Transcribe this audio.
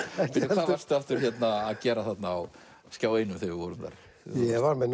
hvað varstu aftur að gera þarna á Skjá einum þegar við vorum þar ég var með